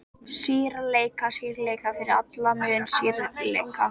Skýrleika, skýrleika, fyrir alla muni skýrleika!